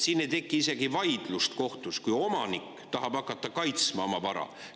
Siin ei teki isegi vaidlust kohtus, kui omanik tahab hakata kaitsma oma vara.